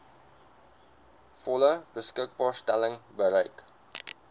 volle beskikbaarstelling bereik